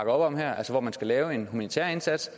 om her altså hvor man skal lave en humanitær indsats